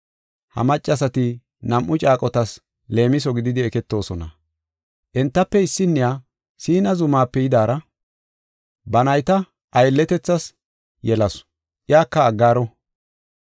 Ha maccasati nam7u caaqotas leemiso gididi eketoosona. Entafe issinniya, Siina zumaape yidaara, ba nayta aylletethas yelasu; iyaka Aggaaro.